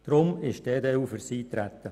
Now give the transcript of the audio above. Deshalb ist die EDU für das Eintreten.